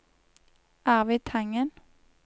Arvid Tangen